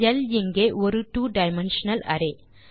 ல் இங்கே ஒரு ட்வோ டைமென்ஷனல் அரே